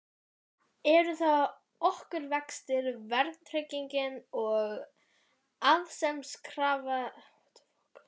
Eru það okurvextir, verðtrygging og arðsemiskrafa lífeyrissjóða?